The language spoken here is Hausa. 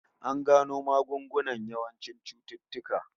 An gano magungunan yawancin cututtuka